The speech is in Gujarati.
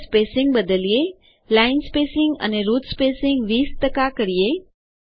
ચાલો સ્પેસીંગ બદલીએ લાઇન સ્પેસિંગ અને રૂટ સ્પેસિંગ 20 કરીએ